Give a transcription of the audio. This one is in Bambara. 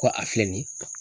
Ko a filɛ nin ye